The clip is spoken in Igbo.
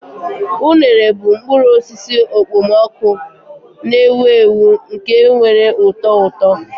Unere bụ mkpụrụ osisi okpomọkụ na-ewu ewu nke nwere ụtọ ụtọ.